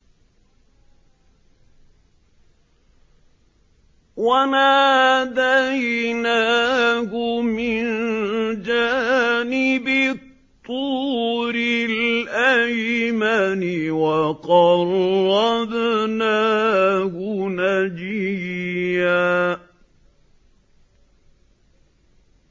وَنَادَيْنَاهُ مِن جَانِبِ الطُّورِ الْأَيْمَنِ وَقَرَّبْنَاهُ نَجِيًّا